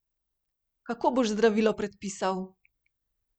Kako boš zdravilo predpisal?